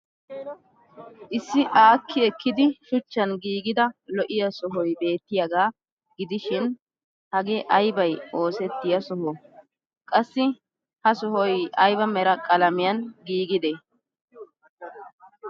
Issi aakki ekkidi shuchchan giigida lo'iya sohoy beettiyaagaa gidishin hagee aybay oosettiya sohoo? Qassi ha sohoy ayba Mera qalamiyaan giigidee?